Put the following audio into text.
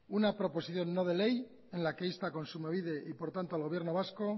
una proposición no de ley en la que insta a kontsumobide y por tanto al gobierno vasco